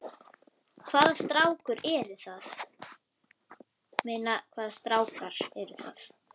Hvaða strákar eru það?